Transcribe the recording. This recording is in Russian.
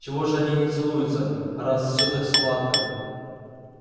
чего же они не целуются раз все так сладко